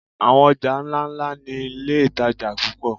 Àwọn ọjà ńláńlá ni iléìtajà púpọ̀.